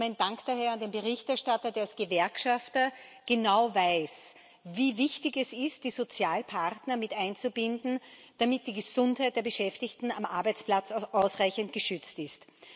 Mein Dank geht daher an den Berichterstatter, der als Gewerkschafter genau weiß, wie wichtig es ist, die Sozialpartner mit einzubinden, damit die Gesundheit der Beschäftigten am Arbeitsplatz ausreichend geschützt ist.